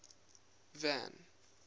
van